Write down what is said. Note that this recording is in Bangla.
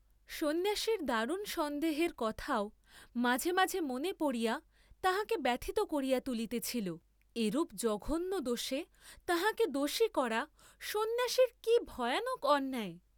সন্ন্যাসীর দারুণ সন্দেহের কথাও মাঝে মাঝে মনে পড়িয়া তাঁহাকে ব্যথিত করিয়া তুলিতেছিল; এরূপ জঘন্য দোষে তাঁহাকে দোষী করা সন্ন্যাসীর কি ভয়ানক অন্যায়!